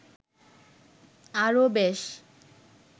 আরো বেশ